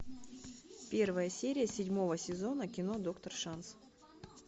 первая серия седьмого сезона кино доктор шанс